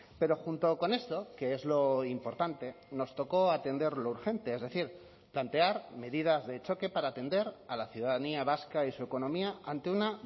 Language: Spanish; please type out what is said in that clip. pero junto con esto que es lo importante nos tocó atender lo urgente es decir plantear medidas de choque para atender a la ciudadanía vasca y su economía ante una